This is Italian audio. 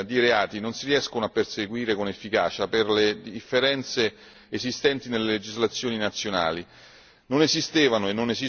Spesso questo tipo di reati non si riescono a perseguire con efficacia per le differenze esistenti nelle legislazioni nazionali.